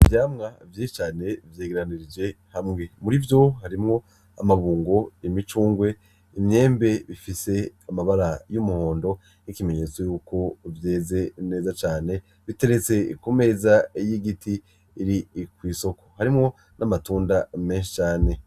Ivyamwa vyinshi cane vyegeranije hamwe, mur'ivyo harimwo amabungo, imicungwe, imyembe ifise amabara y'umuhondo nk'ikimenyetso yuko vyeze neza cane, biteretse ku meza y'igiti iri kw'isoko, harimwo n'amatunda menshi cane.